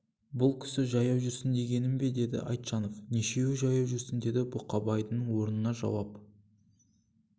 бұл кісі жаяу жүрсін дегенің бе деді айтжанов нешеуі жаяу жүрсін деді бұқабайдың орнына жауап